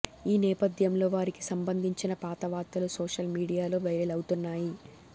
ఈ నేపథ్యంలో వారికి సంబంధించిన పాత వార్తలు సోషల్ మీడియాలో వైరల్ అవుతున్నాయి